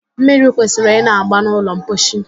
Mmiri kwesịrị ịna-agba n'ụlọ mposi